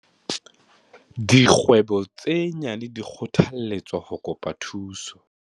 Dikgwebo tse nyane di kgothalletswa ho kopa thuso.